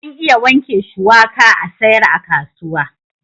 An iya wanke shuwaka a'sayar a kasuwa.